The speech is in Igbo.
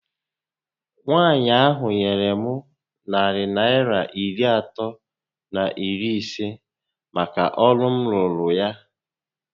Nwaànyị ahụ nyèrè m narị Naịra iri atọ na iri isé màkà ọrụ m rụụrụ ya